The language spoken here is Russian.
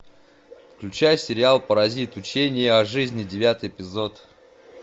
включай сериал паразит учение о жизни девятый эпизод